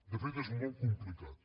de fet és molt complicat